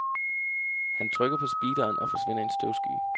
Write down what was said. Han trykker på speederen og forsvinder i en støvsky.